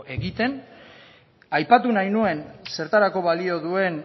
egiten aipatu nahi nuen zertarako balio duen